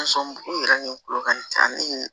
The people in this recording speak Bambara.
i yɛrɛ ni kulo ka ɲi a ni